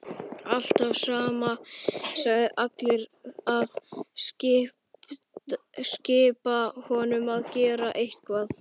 Alltaf sama sagan, allir að skipa honum að gera eitthvað.